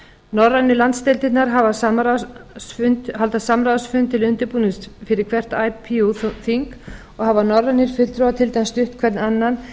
norrænu landsdeildirnar halda samráðsfund til undirbúnings fyrir hvert ipu þing og hafa norðurlandafulltrúar til dæmis stutt hvern annan